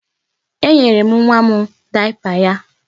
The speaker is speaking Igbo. Eyinyere m nwa m dayapa ya.